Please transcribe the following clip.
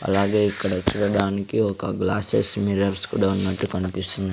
అలాగే ఇక్కడ చూడడానికి ఒక గ్లాసెస్ మిర్రర్స్ కూడా ఉన్నట్టు కనిపిస్తుం--